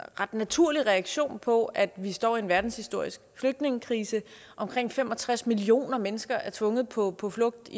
ret naturlig reaktion på at vi står i en verdenshistorisk flygtningekrise omkring fem og tres millioner mennesker er tvunget på på flugt